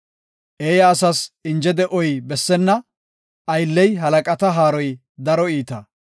Eeya asas inje de7oy bessenna; aylley halaqata haaroy daro iita.